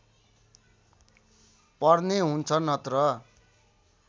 पर्ने हुन्छ नत्र